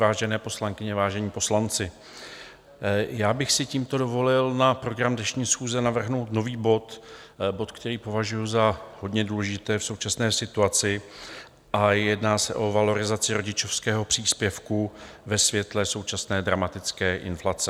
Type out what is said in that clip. Vážené poslankyně, vážení poslanci, já bych si tímto dovolil na program dnešní schůze navrhnout nový bod, bod, který považuji za hodně důležitý v současné situaci, a jedná se o valorizaci rodičovského příspěvku ve světle současné dramatické inflace.